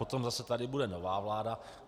Potom tady zase bude nová vláda.